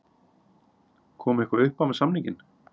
Kom eitthvað uppá með samninginn?